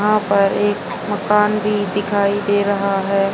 यहां पर एक मकान भी दिखाई दे रहा है।